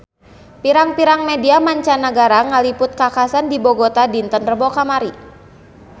Pirang-pirang media mancanagara ngaliput kakhasan di Bogota dinten Rebo kamari